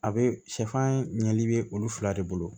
A be sɛfan ɲɛli bɛ olu fila de bolo